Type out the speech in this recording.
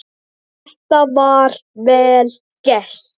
Þetta er vel gert.